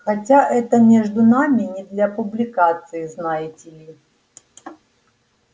хотя это между нами не для публикации знаете ли